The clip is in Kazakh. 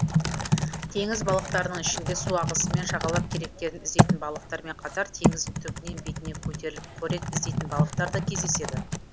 теңіз балықтарының ішінде су ағысымен жағалап керектерін іздейтін балықтармен қатар теңіздің түбінен бетіне көтеріліп қорек іздейтін балықтар да кездеседі